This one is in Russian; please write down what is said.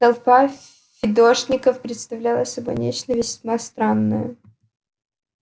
толпа фидошников представляла собой нечто весьма странное